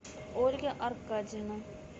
ольга аркадьевна